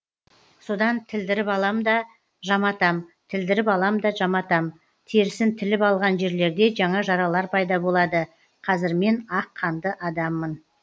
содан тілдіріп алам да жаматам тілдіріп алам да жаматам терісін тіліп алған жерлерде жаңа жаралар пайда болады қазір мен ақ қанды адаммын